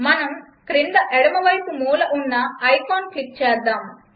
మనం క్రింద ఎడమవైపు మూల ఉన్న ఐకాన్ క్లిక్ చేద్దాం